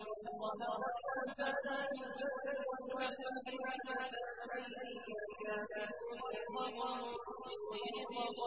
ظَهَرَ الْفَسَادُ فِي الْبَرِّ وَالْبَحْرِ بِمَا كَسَبَتْ أَيْدِي النَّاسِ لِيُذِيقَهُم بَعْضَ